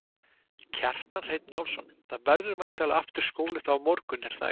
Kjartan Hreinn Njálsson: Það verður væntanlega aftur skóli þá á morgun er það ekki?